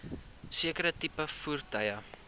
sekere tipe voertuie